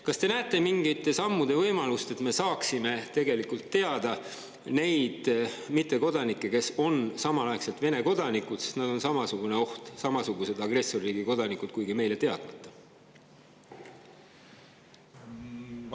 Kas te näete mingite sammude võimalust, et me saaksime tegelikult teada, kes on need mittekodanikud, kes on samaaegselt Vene kodanikud, sest nad on samasugune oht, nad on samasugused agressorriigi kodanikud, kuigi meile on nad teadmata?